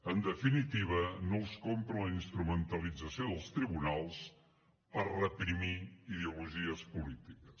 en definitiva no els compren la instrumentalització dels tribunals per reprimir ideologies polítiques